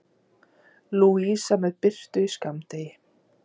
Lúsía með birtu í skammdegi